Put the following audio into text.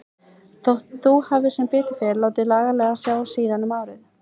Þótt þú hafir sem betur fer látið laglega á sjá síðan um árið.